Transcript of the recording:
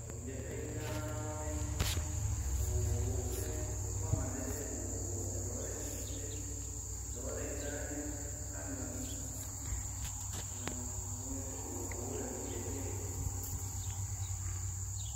Eŋudzeƒe gãa aɖe, eŋu vovovowo kple woƒe amadede vovovowo eɖewo le tukui ɖe eɖewo le gã ɖe kple ame…ameƒomivi vovovowo le ŋudzeƒee.